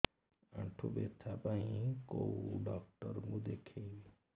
ଆଣ୍ଠୁ ବ୍ୟଥା ପାଇଁ କୋଉ ଡକ୍ଟର ଙ୍କୁ ଦେଖେଇବି